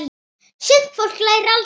Sumt fólk lærir aldrei neitt.